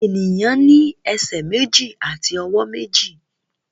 Èèyàn ní ẹsẹ̀ méjì àti ọwọ́ méjì